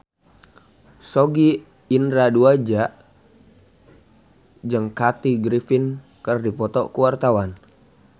Sogi Indra Duaja jeung Kathy Griffin keur dipoto ku wartawan